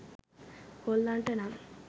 කොල්ලන්ට නම්